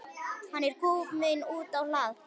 Hann er kominn út á hlað.